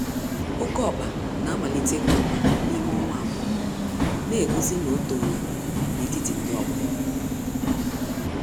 Oké ọkpa namalite ikwa ákwà n'ime ọnwa abụọ, negosi na otoola n'etiti ndị ọgbọ ya.